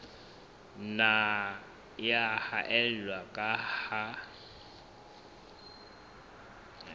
nna ya haella ka ha